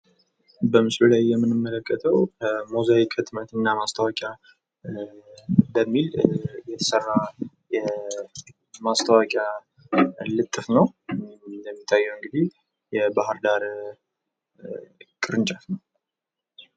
በምስሉ ላይ የምንመለከተው ሞዛይክ ህትመት እና ማስታወቂያ በሚል የተሰራ ማስታወቂያ ልጥፍ ነው እንደሚታየው እንግዲህ በባህር ዳር ቅርንጫፍ ነው።